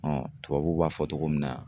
tubabuw b'a fɔ togo min na